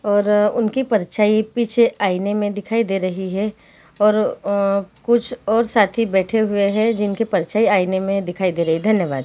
और उनकी परछाई पीछे आईने में दिखाई दे रही है और अअअ कुछ और साथी बैठे हुए है जिनकी परछाई आईने में दिखाई दे रही है धन्यवाद--